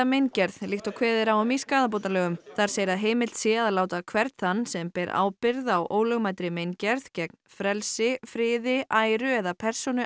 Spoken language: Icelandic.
meingerð líkt og kveðið er á um skaðabótalögum þar segir að heimilt sé að láta hvern þann sem ber ábyrgð á ólögmætri meingerð gegn frelsi friði æru eða persónu